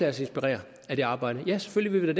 os inspirere af det arbejde ja selvfølgelig vil